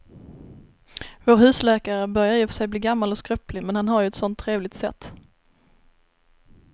Vår husläkare börjar i och för sig bli gammal och skröplig, men han har ju ett sådant trevligt sätt!